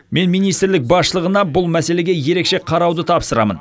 мен министрлік басшылығына бұл мәселеге ерекше қарауды тапсырамын